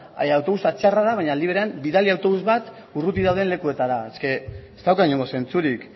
autobusa txarra da baina aldi berean bidali autobus bat urruti dauden lekuetara ez dauka inongo zentzurik